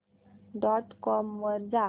dot com वर जा